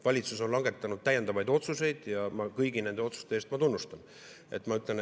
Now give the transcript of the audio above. Valitsus on langetanud täiendavaid otsuseid ja kõigi nende otsuste eest ma tunnustan.